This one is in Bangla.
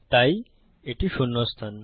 তাই এটি শূন্য স্থান